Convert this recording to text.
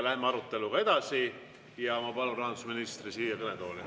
Läheme aruteluga edasi ja ma palun rahandusministri siia kõnetooli.